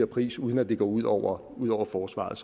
pris uden at det går ud over ud over forsvaret